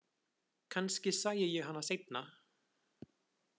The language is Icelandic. Kannski sæi ég hann seinna.